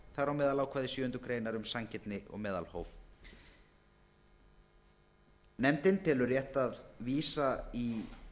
þar á meðal ákvæði sjöundu greinar um sanngirni og meðalhóf nefndin telur rétt að vísa í